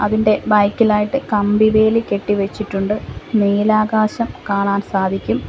ഇതിൻ്റെ ബാക് ഇലായിട്ട് കമ്പി വേലി കെട്ടി വച്ചിട്ടുണ്ട് നീലാകാശം കാണാൻ സാധിക്കും.